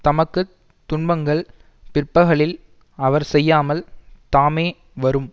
தமக்கு துன்பங்கள் பிற்பகலில் அவர் செய்யாமல் தாமே வரும்